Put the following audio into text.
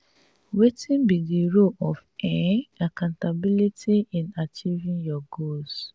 wetin be di role of um accountability in achieving your goals?